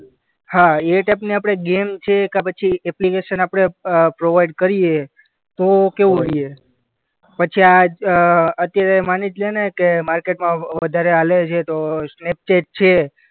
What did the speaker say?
હા ગેમ છે કે પછી એપ્લિકેશન આપણે અ પ્રોવાઈડ કરીએ તો કેવું ? પછી આ અ અત્યારે માની જ લેને કે માર્કેટમાં વધારે હાલે છે, તો સ્નેપચેટ છે.